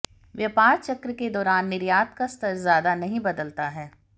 व्यापार चक्र के दौरान निर्यात का स्तर ज्यादा नहीं बदलता है